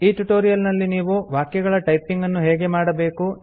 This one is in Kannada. ಈ ಟ್ಯುಟೋರಿಯಲ್ ನಲ್ಲಿ ನೀವು ವಾಕ್ಯಗಳ ಟೈಪಿಂಗ್ ಅನ್ನು ಹೇಗೆ ಮಾಡಬೇಕು